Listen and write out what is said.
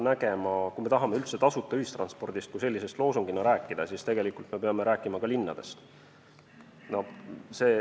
Kui me tahame üldse tasuta ühistranspordist kui sellisest loosungina rääkida, siis tegelikult me peame rääkima ka linnadest.